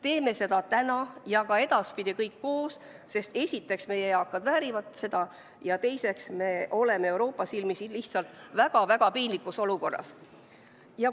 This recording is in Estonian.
Teeme seda täna ja ka edaspidi kõik koos, sest esiteks meie eakad väärivad seda ja teiseks me oleme Euroopa silmis lihtsalt väga-väga piinlikus olukorras.